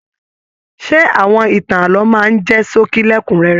Ṣe awọn ìtàn ààlọ́ máa n jẹ ṣókí lẹkunrẹrẹ?